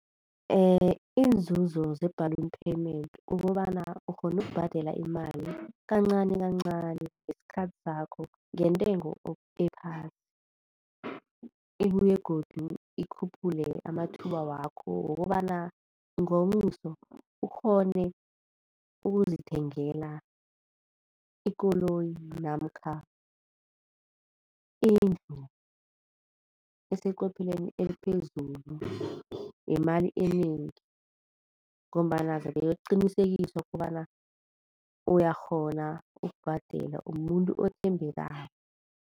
Iinzuzo ze-balloon payment kukobana ukghona ukubhadela imali kancani kancani ngesikhathi sakho ngentengo ephasi. Ibuye godu ikhuphule amathuba wakho wokobana ngomuso ukghone ukuzithengela ikoloyi namkha indlu eseqophelweni eliphezulu yemali enengi ngombana zabe yokuqinisekiswa kobana uyakghona ukubhadela umumuntu othembekako.